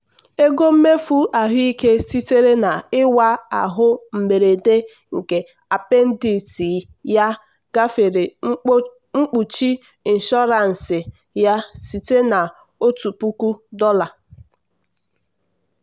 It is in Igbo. ego mmefu ahụike sitere na-ịwa ahụ mberede nke appendicitis ya gafere mkpuchi ịnshọransị ya site na ọtụtụ puku dollar.